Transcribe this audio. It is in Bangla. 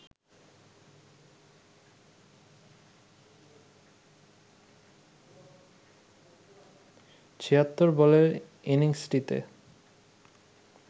৭৬ বলের ইনিংসটিতে